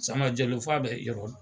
Sama Jalo fo a bɛ yɔrɔ